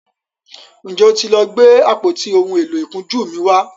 njé o tí lọ Gbe àpótí òún èló ìkunjú mí wá?